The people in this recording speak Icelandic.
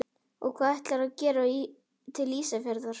Og hvað ætlarðu að gera til Ísafjarðar?